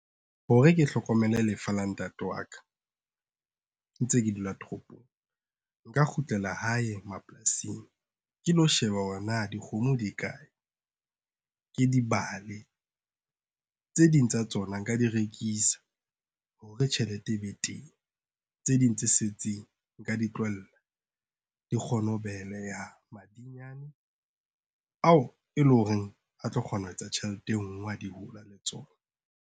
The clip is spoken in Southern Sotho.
Hore ke hlokomele lefa la ntate waka, ntse ke dula toropong, nka kgutlela hae mapolasing ke lo sheba hore na dikgomo di kae, ke dibale. Tse ding tsa tsona nka di rekisa, hore tjhelete e be teng. Tse ding tse setseng nka di tlohella, di kgone ho beleha madinyane ao e leng hore a tlo kgona ho etsa tjhelete e ngwe ha di hola le tsona.